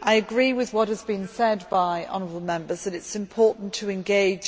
I agree with what has been said by honourable Members that it is important to engage